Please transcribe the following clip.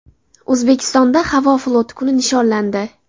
O‘zbekistonda havo floti kuni nishonlandi.